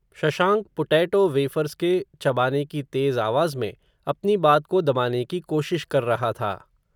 Shashank, potato wafers के चबाने की तेज़ आवाज़ में, अपनी बात को दबाने की कोशिश कर रहा था